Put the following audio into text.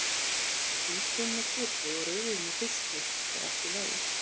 Hvítvín með kjöti og rauðvín með fiski er allt í lagi!